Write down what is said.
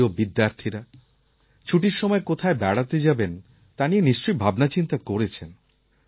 আমার প্রিয় বিদ্যার্থীরা ছুটির সময় কোথায় বেড়াতে যাবেন তা নিয়ে নিশ্চয়ই ভাবনাচিন্তা করেছেন